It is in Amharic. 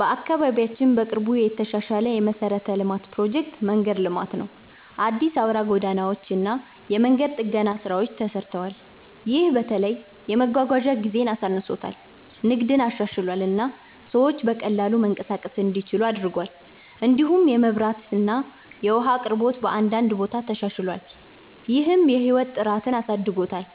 በአካባቢያችን በቅርቡ የተሻሻለ የመሠረተ ልማት ፕሮጀክት መንገድ ልማት ነው። አዲስ አውራ ጎዳናዎች እና የመንገድ ጥገና ስራዎች ተሰርተዋል። ይህ በተለይ የመጓጓዣ ጊዜን አሳንሶታል፣ ንግድን አሻሽሏል እና ሰዎች በቀላሉ መንቀሳቀስ እንዲችሉ አድርጓል። እንዲሁም የመብራት እና የውሃ አቅርቦት በአንዳንድ ቦታ ተሻሽሏል፣ ይህም የህይወት ጥራትን አሳድጎታል።